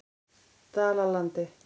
Dalalandi